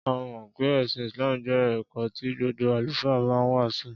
A mọ̀ pé ẹ̀sìn Islam jẹ́ ẹ̀kọ́ tí gbogbo Àlùfáà ma ń wàásù.